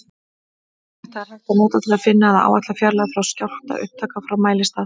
Þetta er hægt að nota til að finna eða áætla fjarlægð skjálftaupptaka frá mælistað.